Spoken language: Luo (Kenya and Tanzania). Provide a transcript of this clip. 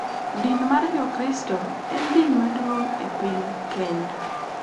Din mar Jokristo e din maduong' e piny Kenya,